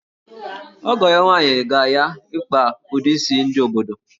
Ọgọ ya nwaanyị ga-ya ịkpa ụdị isi ndị obodo